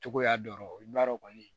Togoya dɔn i b'a dɔn kɔni